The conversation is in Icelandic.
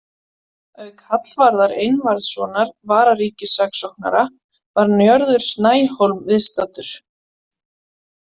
Auk Hallvarðar Einvarðssonar vararíkissaksóknara var Njörður Snæhólm viðstaddur.